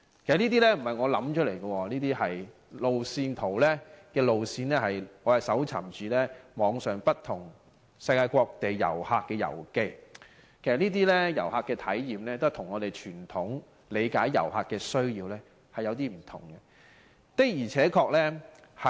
其實這些不是我想出來的，這些路線是我在網上從世界各地旅客的遊記中搜尋到的，這些旅客的體驗跟我們傳統理解旅客的需要確有點不同。